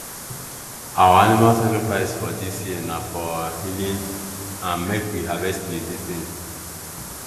our animal sacrifice this year na for year na for healing and make we harvest plenty things